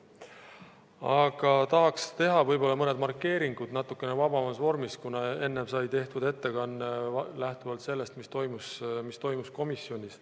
Aga tahaks teha võib-olla mõned markeeringud natukene vabamas vormis, kuna enne sai tehtud ettekanne lähtuvalt sellest, mis toimus komisjonis.